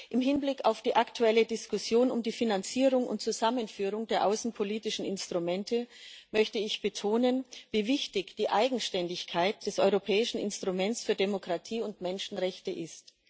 Im Hinblick auf die aktuelle Diskussion um die Finanzierung und Zusammenführung der außenpolitischen Instrumente möchte ich betonen, wie wichtig die Eigenständigkeit des Europäischen Instruments für Demokratie und Menschenrechte ist.